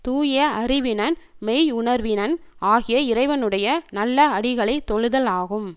தூய அறிவினன் மெய்யுணர்வினன் ஆகிய இறைவனுடைய நல்ல அடிகளைத் தொழுதல் ஆகும்